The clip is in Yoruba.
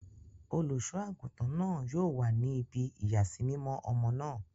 Oluṣọ-agutan náà yóò wa ní ibí iyasimimọ ọmọ náà